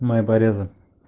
мои порезы